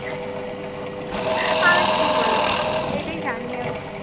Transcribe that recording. আমি কি বলবো? এটাই জানি আমি.